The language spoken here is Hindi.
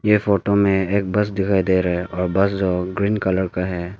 ये फोटो में एक बस दिखाई दे रहा है और बस जो ग्रीन कलर का है।